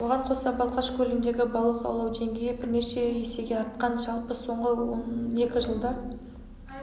оған қоса балқаш көліндегі балық аулау деңгейі бірнеше есеге артқан жалпы соңғы он екі жылда